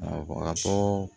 Awɔ a ka bɔ